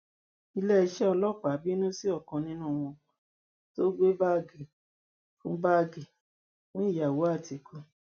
iléeṣẹ ọlọpàá bínú sí ọkan nínú wọn tó gbé báàgì fún báàgì fún ìyàwó àtìkú